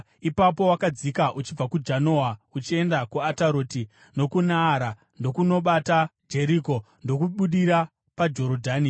Ipapo wakadzika uchibva kuJanoa uchienda kuAtaroti nokuNaara, ndokundobata Jeriko, ndokubudira paJorodhani.